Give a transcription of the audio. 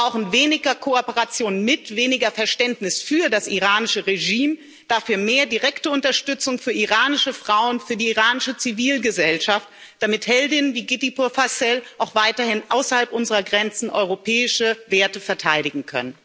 Wir brauchen weniger Kooperation mit, weniger Verständnis für das iranische Regime, dafür mehr direkte Unterstützung für iranische Frauen, für die iranische Zivilgesellschaft, damit Heldinnen wie Giti Purfasel auch weiterhin außerhalb unserer Grenzen europäische Werte verteidigen können.